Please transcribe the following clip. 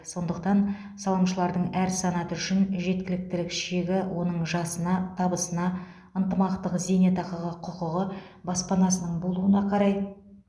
сондықтан салымшылардың әр санаты үшін жеткіліктілік шегі оның жасына табысына ынтымақтық зейнетақыға құқығы баспанасының болуына қарай